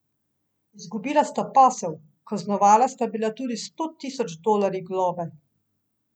Izgubila sta posel, kaznovana sta bila tudi s sto tisoč dolarji globe.